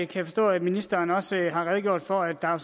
kan forstå at ministeren også har redegjort for at der jo